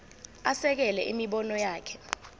asekele imibono yakhe